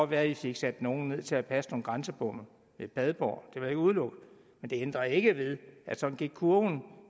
være i fik sat nogle ned til at passe nogle grænsebomme ved padborg det vil jeg ikke udelukke men det ændrer ikke ved at sådan gik kurven